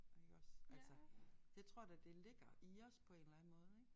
Iggås altså det tror jeg da det ligger i os på en eller anden måde ik